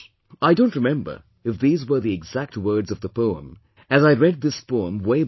" I don't remember if these were the exact words of the poem, as I read this poem way back